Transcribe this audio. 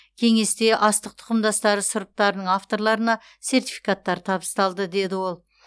кеңесте астық тұқымдастары сұрыптарының авторларына сертификаттар табысталды деді ол